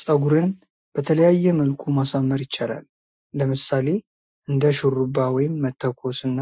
ጽጉርን በተለይየ መልኩ ማሳመር ይችላል። ለምስሌ እንደ ሹሩባ፣ ወይም መተኮስ እና